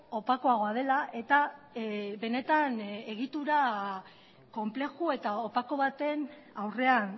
opakoagoa dela eta benetan egitura konplexu eta opako baten aurrean